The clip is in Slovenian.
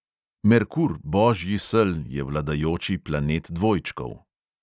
Merkur, božji sel, je vladajoči planet dvojčkov.